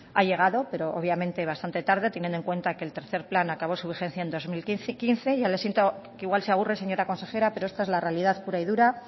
ha llegado pero obviamente bastante tarde teniendo en cuenta que el tercer plan acabó su vigencia en dos mil quince ya siento que igual se aburre señora consejera pero esta es la realidad pura y dura